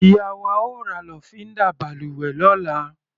Ìyá wa ó ra lọ́fíndà balùwẹ̀ lọ́la.